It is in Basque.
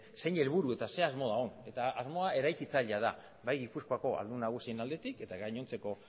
zein helburu eta ze asmo dagoen asmoa eraikitzailea da bai gipuzkoako ahaldun nagusiaren aldetik eta gainontzeko